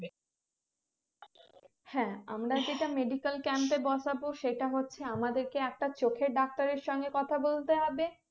হ্যাঁ আমরা যেটা medical camp এ বসাবো সেটা হচ্ছে আমাদেরকে একটা চোখের ডাক্তারের সঙ্গে কথা বলতে হবে